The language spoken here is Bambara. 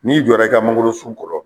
N'i jɔra i ka mangolosun kɔrɔ